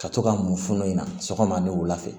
Ka to ka mun funun in na sɔgɔma ni wula fɛ